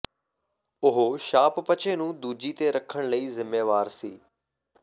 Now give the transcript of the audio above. ਉਹ ਸ਼ਾਪਪਚੇ ਨੂੰ ਦੂਜੀ ਤੇ ਰੱਖਣ ਲਈ ਜ਼ਿੰਮੇਵਾਰ ਸੀ